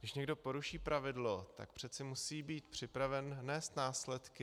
Když někdo poruší pravidlo, tak přece musí být připraven nést následky.